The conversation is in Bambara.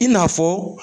I n'a fɔ